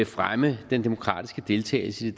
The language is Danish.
fremme den demokratiske deltagelse i